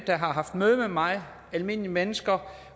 der har haft møde med mig almindelige mennesker